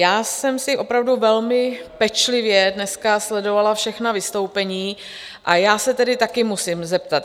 Já jsem si opravdu velmi pečlivě dneska sledovala všechna vystoupení a já se tedy taky musím zeptat.